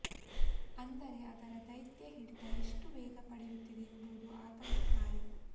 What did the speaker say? ಅಂದರೆ ಅದರ ದೈತ್ಯ ಹಿಡಿತ ಎಷ್ಟು ವೇಗ ಪಡೆಯುತ್ತಿದೆ ಎಂಬುದು ಭಾರೀ ಆತಂಕಕಾರಿ